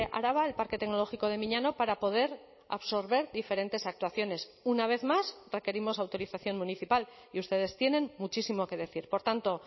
araba el parque tecnológico de miñano para poder absorber diferentes actuaciones una vez más requerimos autorización municipal y ustedes tienen muchísimo que decir por tanto